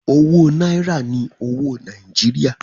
Owó náírà ni owó Nàìjíríà.